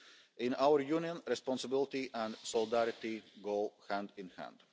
In our Union, responsibility and solidarity go hand in hand.